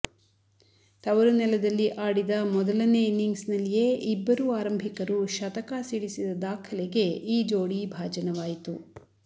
ತವರು ನೆಲದಲ್ಲಿ ಆಡಿದ ಮೊದಲನೇ ಇನಿಂಗ್ಸ್ನಲ್ಲಿಯೇ ಇಬ್ಬರೂ ಆರಂಭಿಕರು ಶತಕ ಸಿಡಿಸಿದ ದಾಖಲೆಗೆ ಈ ಜೋಡಿ ಭಾಜನವಾಯಿತು